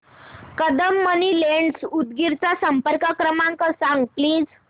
Kadam money lenders Udgir चा संपर्क क्रमांक सांग प्लीज